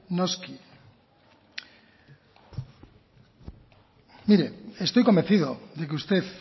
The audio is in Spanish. noski mire estoy convencido de que usted